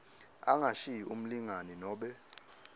angashiyi umlingani nobe